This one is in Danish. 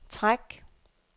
træk